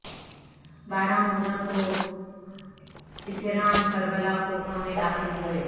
بارہ محرم کو اسیران کربلا کوفہ میں داخل ہوئے